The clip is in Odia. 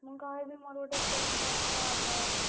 ମୁଁ କହିବି ମୋର ଗୋଟେ friend କଥା ହବ।